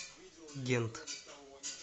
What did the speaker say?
гент